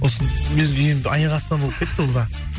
осы аяқ астынан болып кетті ол да